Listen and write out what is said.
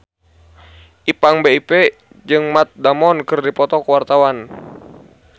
Ipank BIP jeung Matt Damon keur dipoto ku wartawan